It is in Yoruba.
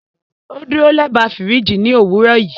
O duro lẹba firiji ni owurọ yii